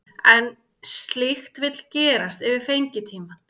En slíkt vill gerast yfir fengitímann.